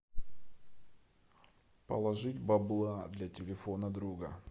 положить бабла для телефона друга